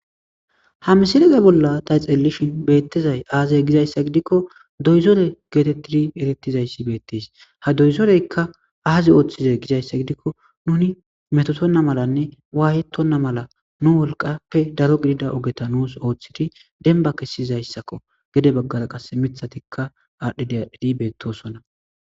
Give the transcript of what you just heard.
ha misileze bolla ta xelelishin beettizay aazay gizayssa gidikko doyzore geetetidi erettizayssi beettes ha doyzoreykka aazi ooththizay gizayssa gidikko nuni metotonna malanne waayetonna mala nu wolqappe daro gidida ogeta nuus ooththidi denba kessizayssakko gede baggara qas mithatikka aadhdhi dadhidi beettosonna